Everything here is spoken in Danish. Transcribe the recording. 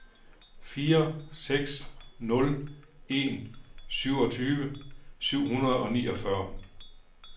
fire seks nul en syvogtyve syv hundrede og niogfyrre